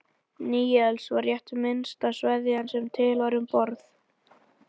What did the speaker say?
Níelsi var rétt minnsta sveðjan sem til var um borð.